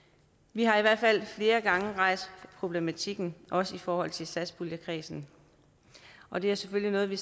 vi har i hvert fald flere gange rejst problematikken også i forhold til satspuljekredsen og det er selvfølgelig noget vi